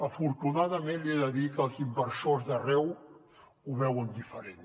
afortunadament li he de dir que els inversors d’arreu ho veuen diferent